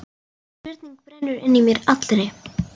Spurning brennur inn í mér allri.